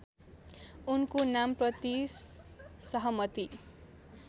उनको नामप्रति सहमति